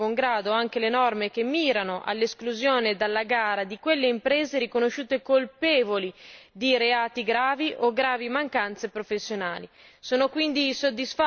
Nel contempo, però, accolgo di buon grado anche le norme che mirano all'esclusione dalla gara di quelle imprese riconosciute colpevoli di reati gravi o gravi mancanze professionali.